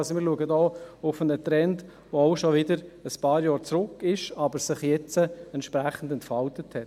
Wir blicken hier also auf einen Trend, der schon ein paar Jahre zurückliegt, aber sich jetzt entsprechend entfaltet hat.